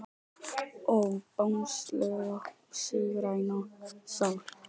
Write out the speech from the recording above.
Ó Bangsalega sígræna sál.